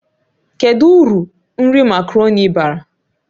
Kedu uru nri makaroni bara?